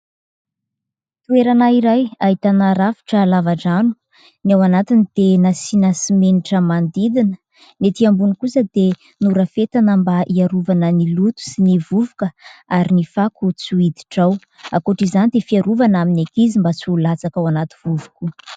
Toerana iray ahitana rafitra lava-drano, ny ao anatiny dia nasiana simenitra manodidina, ny ety ambony kosa dia norafetina mba hiarovana ny loto sy ny vovoka ary ny fako tsy hiditra ao, ankoatra izany dia fiarovana amin'ny ankizy mba tsy hilatsaka ao anaty vovo koa.